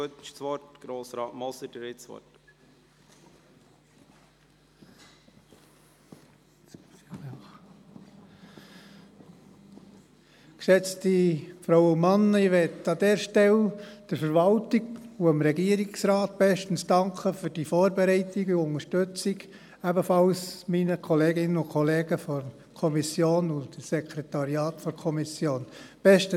der SiK. Ich möchte an dieser Stelle der Verwaltung und dem Regierungsrat bestens danken für die Vorbereitung und die Unterstützung, auch meinen Kolleginnen und Kollegen der Kommission und auch dem Kommissionssekretariat.